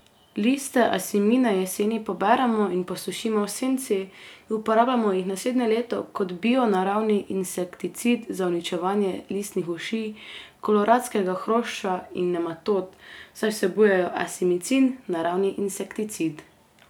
Liste asimine jeseni poberemo in posušimo v senci, uporabimo jih naslednje leto kot bio naravni insekticid za uničevanje listnih uši, koloradskega hrošča in nematod, saj vsebujejo asimicin, naravni insekticid.